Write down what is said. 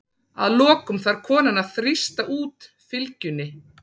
Að lokum þarf konan að þrýsta út fylgjunni.